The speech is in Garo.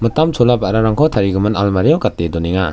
mitam chola ba·rarangko tarigimin almario gate donenga.